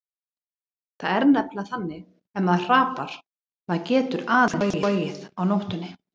Það er nefnilega þannig ef maður hrapar, maður getur aðeins flogið á nóttunni.